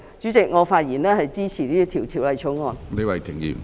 主席，我發言支持《條例草案》。